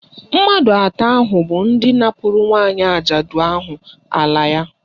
Mmadụ atọ ahụ bụ ndị napụrụ nwaanyị ajadu ahụ ala ya